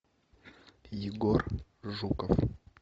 егор жуков